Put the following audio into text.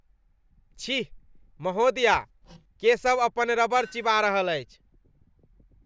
छी ! महोदया, केशव अपन रबड़ चिबा रहल अछि।